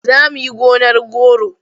Za mu yi gonar goro.